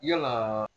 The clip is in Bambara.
Yalaa